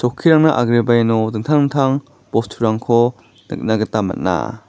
chokkirangna agreba iano dingtang dingtang bosturangko nikna gita man·a.